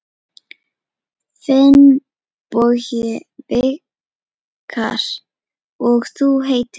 Finnbogi Vikar: Og þú heitir?